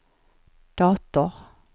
dator